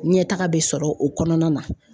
Ɲɛtaga bɛ sɔrɔ o kɔnɔna na